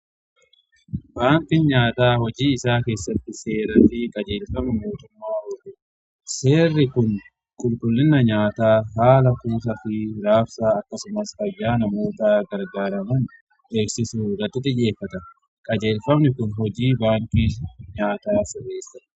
Baankin nyaataa hojii isaa keessatti seeraafi qajeelfamni mootummaa hojjeta. Seerri kun qulqullina nyaataa haala kuuta fi raabsaa akkasumas fayyaa namootaa gargaaraman dheeksisu irrati xiyyeffata. Qajeelfamni kun hojii baanki nyaataa jabeessa.